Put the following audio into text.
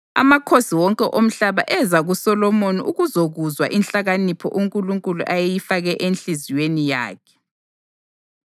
Amakhosi wonke omhlaba eza kuSolomoni ukuzokuzwa inhlakanipho uNkulunkulu ayeyifake enhliziyweni yakhe.